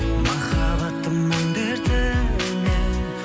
махаббаттың мұң дертінен